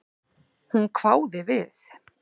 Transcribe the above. Hún hváði við.